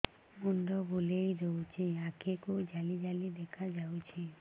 ମୁଣ୍ଡ ବୁଲେଇ ଦେଉଛି ଆଖି କୁ ଜାଲି ଜାଲି ଦେଖା ଯାଉଛି